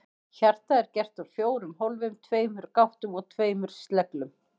Hjartað er gert úr fjórum hólfum, tveimur gáttum og tveimur sleglum.